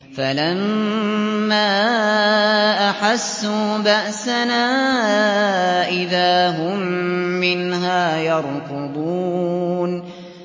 فَلَمَّا أَحَسُّوا بَأْسَنَا إِذَا هُم مِّنْهَا يَرْكُضُونَ